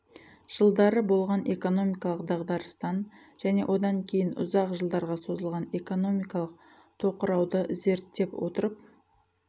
жылдары болған экономикалық дағдарыстан және одан кейін ұзақ жылдарға созылған экономикалық тоқырауды зерттеп отырып